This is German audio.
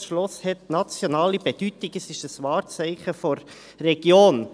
Das Schloss hat nationale Bedeutung, es ist ein Wahrzeichen der Region.